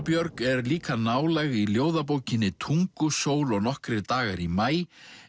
Björg er líka nálæg í ljóðabókinni Tungusól og nokkrir dagar í maí